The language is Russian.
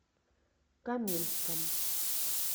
каменском